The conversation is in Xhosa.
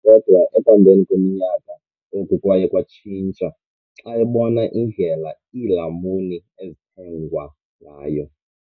Kodwa ekuhambeni kweminyaka, oku kwaye kwatshintsha xa ebona indlela iilamuni ezithengwa ngayo.